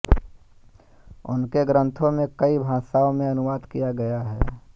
उनके ग्रंथों में कई भाषाओं में अनुवाद किया गया है